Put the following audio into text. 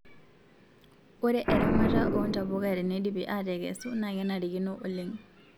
ore eramata oo ntapuka tenedipi atekesu na kenarikino oleng